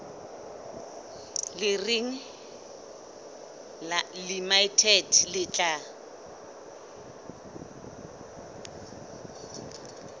le reng limited le tla